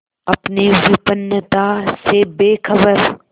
अपनी विपन्नता से बेखबर